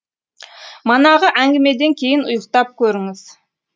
манағы әңгімеден кейін ұйықтап көріңіз